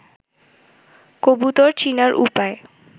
কবুতর চিনার উপায়